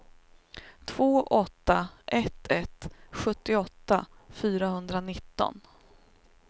två åtta ett ett sjuttioåtta fyrahundranitton